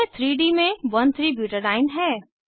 यह 3डी में 13ब्यूटाडीन है